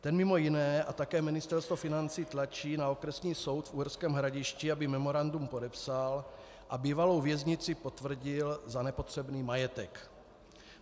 Ten mimo jiné a také Ministerstvo financí tlačí na Okresní soud v Uherském Hradišti, aby memorandum podepsal a bývalou věznici potvrdil za nepotřebný majetek.